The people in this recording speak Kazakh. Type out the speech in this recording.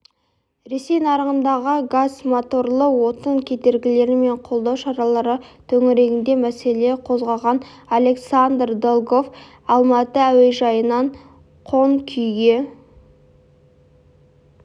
ресей нарығындағы газмоторлы отын кедергілер мен қолдау шаралары төңірегінде мәселе қозғаған александр долгов алматы әужайынан қонқүйге